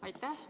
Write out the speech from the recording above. Aitäh!